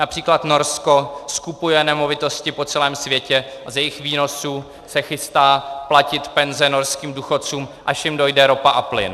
Například Norsko skupuje nemovitosti po celém světě a z jejich výnosů se chystá platit penze norským důchodcům, až jim dojde ropa a plyn.